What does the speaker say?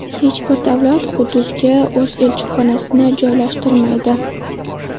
Hech bir davlat Quddusga o‘z elchixonasini joylashtirmaydi.